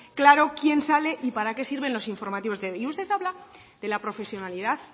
claro quién sale y para qué sirven los informativos y usted habla de la profesionalidad